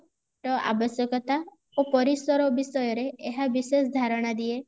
ର ଆବଶ୍ୟକତା ଓ ପରାୟଷର ବିଷୟରେ ଏହା ବିଶେଷ ଧାରଣା ଦିଏ